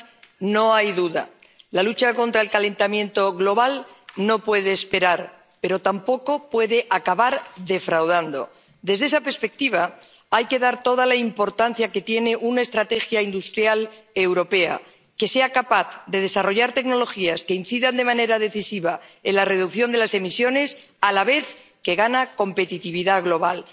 Señora presidenta, señor vicepresidente Timmermans, no hay duda, la lucha contra el calentamiento global no puede esperar, pero tampoco puede acabar defraudando. Desde esta perspectiva, hay que dar toda la importancia que tiene una estrategia industrial europea que sea capaz de desarrollar tecnologías que incidan de manera decisiva en la reducción de las emisiones a la vez que gana competitividad global.